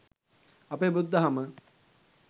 අපේ බුදු දහම